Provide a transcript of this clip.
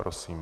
Prosím.